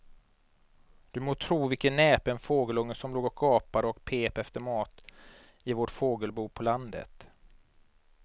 Du må tro vilken näpen fågelunge som låg och gapade och pep efter mat i vårt fågelbo på landet.